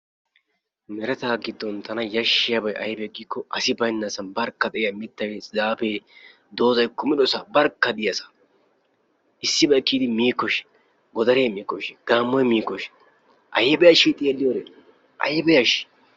Meretaa giddon tana yashshiyabay aybee giikko; asi baynnasan barkka de"iya mittay zaafee doozzay kumidosaa barkka diyasaa. issibay kiyidi miikkoshin? Godaree miikkoshin? Gaammoy miikkoshin? ayiiba yashshii xeelliyode, ayba yashshii?